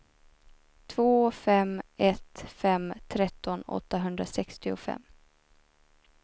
två fem ett fem tretton åttahundrasextiofem